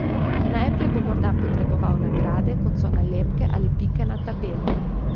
Najprej bo morda potreboval nagrade, kot so nalepke ali pike na tabeli.